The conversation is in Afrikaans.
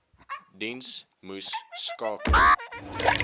diens moes skakel